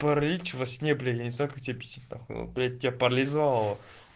паралич во сне блядь я не знаю как тебе обьяснить на хуй блядь тебя паролизовало